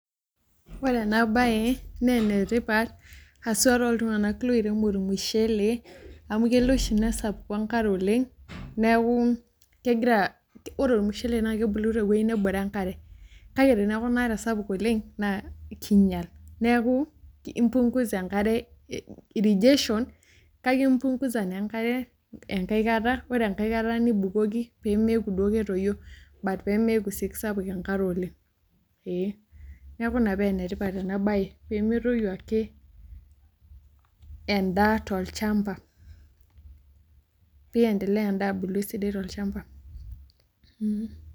Ore enabae, nenetipat, haswa toltung'anak loirem ormushele, amu kelo oshi nesapuku enkare oleng, neeku kegira, ore ormushele na kebulu tewoi nebore enkare. Kake teneeku inaare sapuk oleng, naa kinyal. Neeku impungusa enkare irrigation, kake impungusa naa enkare enkae kata, ore enkae kata nibukoki pemeeku duo ketoyio, but pemeeku si kisapuk enkare oleng. Ee. Neeku ina pa enetipat enabae, pemetoyu ake endaa tolchamba. Piendelea endaa abulu esidai tolchamba.